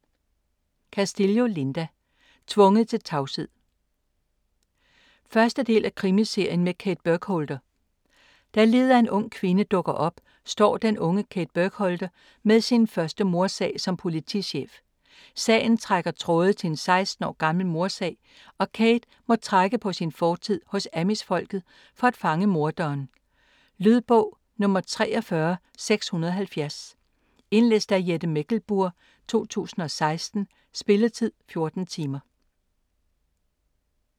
Castillo, Linda: Tvunget til tavshed 1. del af Krimiserien med Kate Burkholder. Da liget af en ung kvinde dukker op, står den unge Kate Burkholder med sin første mordsag som politichef. Sagen trækker tråde til en 16 år gammel mordsag, og Kate må trække på sin fortid hos Amish-folket for at fange morderen. Lydbog 43670 Indlæst af Jette Mechlenburg, 2016. Spilletid: 14 timer.